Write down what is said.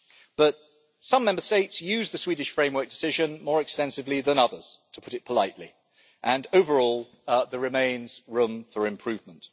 But some Member States use the Swedish framework decision more extensively than others to put it politely and overall there remains room for improvement.